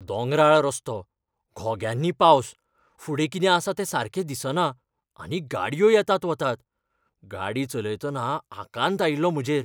दोंगराळ रस्तो, घोग्यांनी पावस, फुडें कितें आसा तें सारकें दिसना आनी गाडयो येतात वतात, गाडी चलयतना आकांत आयिल्लो म्हजेर.